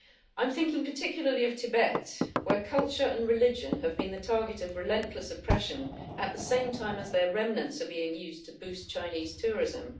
I am thinking particularly of Tibet, where culture and religion have been the target of relentless oppression at the same time as their remnants are being used to boost Chinese tourism.